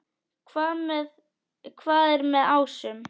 Hvað er með ásum?